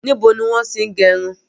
Níbo ni wọn ti n gẹrun?